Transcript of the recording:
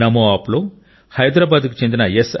నమోఆప్లో హైదరాబాద్కు చెందిన ఎస్